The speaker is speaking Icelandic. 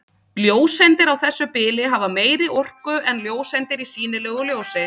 Ljóseindir á þessu bili hafa meiri orku en ljóseindir í sýnilegu ljósi.